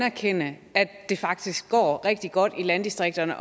anerkende at det faktisk går rigtig godt i landdistrikterne